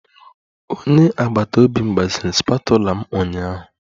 Onye agbata obi m gbaziri spatula m ụnyaahụ